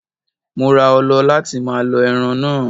Mo ra ọlọ láti máa lọ ẹran náà.